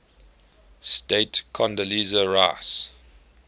state condoleezza rice